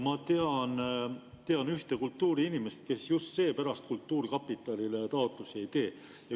Ma tean ühte kultuuriinimest, kes just seepärast kultuurkapitalile taotlusi ei tee.